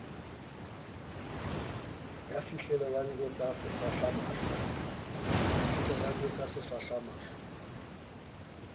ya fihlileng a ntjwetsa sefahlamahlo